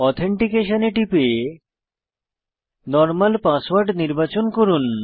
authentication এ টিপে normal password নির্বাচন করুন